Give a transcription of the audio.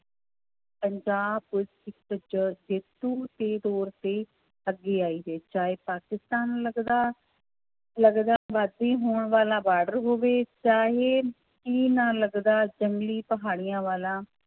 Punjab police ਇੱਕ ਜ~ ਜੇਤੂ ਦੇ ਤੌਰ ਤੇ ਅੱਗੇ ਆਈ ਹੈ, ਚਾਹੇ ਪਾਕਿਸਤਾਨ ਲੱਗਦਾ ਲੱਗਦਾ ਹੋਣ ਵਾਲਾ ਬਾਰਡਰ ਹੋਵੇ ਜਾਂ ਇਹ ਚੀਨ ਨਾਲ ਲੱਗਦਾ ਜੰਗਲੀ ਪਹਾੜੀਆਂ ਵਾਲਾ